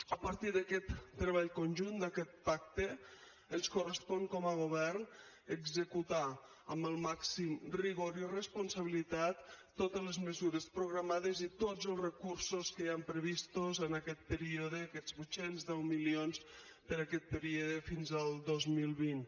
a partir d’aquest treball conjunt d’aquest pacte ens correspon com a govern executar amb el màxim rigor i responsabilitat totes les mesures programades i tots els recursos que hi han previstos en aquest període aquests vuit cents i deu milions per a aquest període fins al dos mil vint